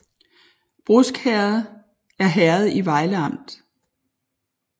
Brusk Herred er herred i Vejle Amt